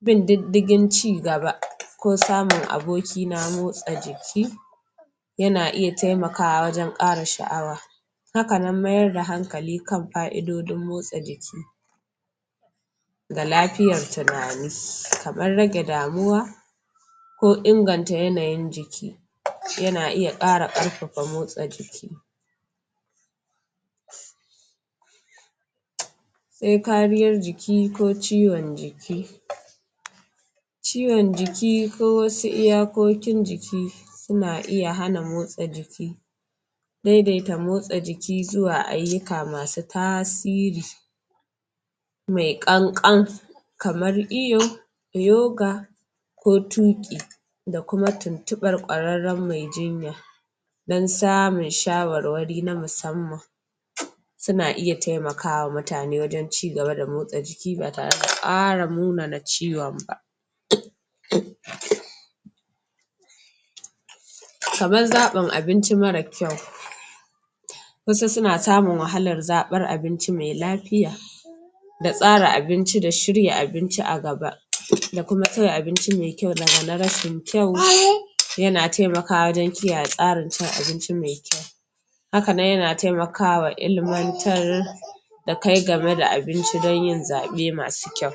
bin diddigin cigaba ko samun aboki na motsa jiki yana iya taimakawa wajen ƙara sha'awa hakanan mayar da hankali kan fa'idodin motsa jiki da lafiyar tunani kaman rage damuwa ko inganta yanayin jiki, yana iya ƙara ƙarfafa motsa jiki sai kariyan jiki ko ciwon jiki ciwon jiki ko wasu iyakokin jiki suna iya hana motsa jiki daidaita motsa jiki zuwa ayyuka masu tasiri mai ƙan ƙan kamar iyo yoga ko tuƙi da kuma tuntuɓar kwararren mai jinya don samun shawarwari na musamman suna iya taimaka wa mutane wajen cigaba da motsa jiki ba tare da ƙara munana ciwon ba kaman zaɓin abinci mara kyau wasu suna samun wahalar zaɓan abinci mai lafiya da tsara abinci da shirya abinci a gaba da kuma soya abinci mai kyau daga na rashin kyau yana taimakawa wajen kiyaye tsarin cin abinci mai kyau hakanan yana taimaka wa ilimantar da kai game da abinci don yin zaɓe masu kyau.